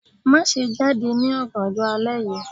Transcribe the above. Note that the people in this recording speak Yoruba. Maṣe jade ni ọganjọ alẹ yii